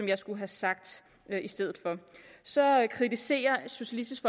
jeg skulle have sagt i stedet for så kritiserer socialistisk